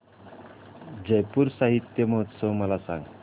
जयपुर साहित्य महोत्सव मला सांग